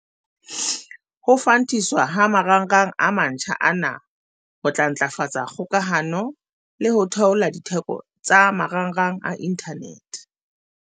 Ho fantiswa ha marangrang a mantjha ana ho tla ntlafatsa kgokahano le ho theola ditheko tsa marangrang a inthanete.